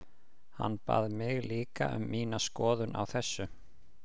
Hann bað mig líka um mína skoðun á þessu.